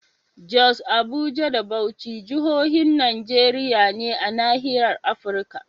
Jos, Abuja da Bauchi jahohin Najeriya ne a nahiyar Afirka.